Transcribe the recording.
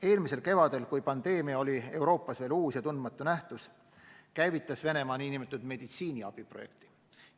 Eelmisel kevadel, kui pandeemia oli Euroopas veel uus ja tundmatu nähtus, käivitas Venemaa nn meditsiiniabi projekti.